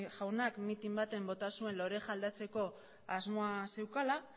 jaunak mitin baten bota zuen joera aldatzeko asmoa zeukala